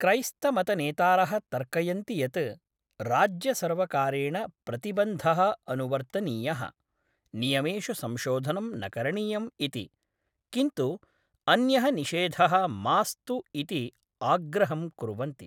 क्रैस्तमतनेतारः तर्कयन्ति यत् राज्यसर्वकारेण प्रतिबन्धः अनुवर्तनीयः, नियमेषु संशोधनं न करणीयम् इति, किन्तु अन्यः निषेधः मास्तु इति आग्रहं कुर्वन्ति।